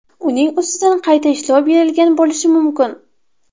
Uning ustidan qayta ishlov berilgan bo‘lishi mumkin.